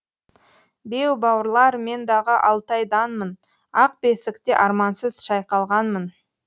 беу бауырлар мен дағы алтайданмын ақ бесікте армансыз шайқалғанмын